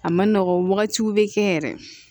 A ma nɔgɔn wagatiw bɛ kɛ yɛrɛ